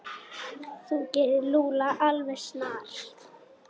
Þú gerir Lúlla alveg snar,